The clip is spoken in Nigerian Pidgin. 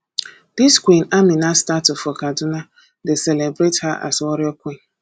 dis queen amina statue for kaduna dey celebrate her as warrior queen